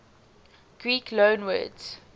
greek loanwords